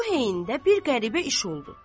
Bu heyndə bir qəribə iş oldu.